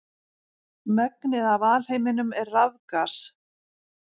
Megnið af alheiminum er rafgas.